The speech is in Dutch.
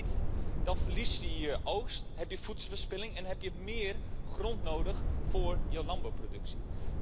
Doe je dat niet, dan verlies je je oogst, heb je voedselverspilling en heb je meer grond nodig voor je landbouwproductie.